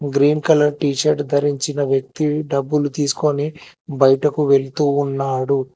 Green colour t shirt ధరించిన వ్యక్తి డబ్బులు తీసుకొని బయటకు వెళ్తూ ఉన్నాడు.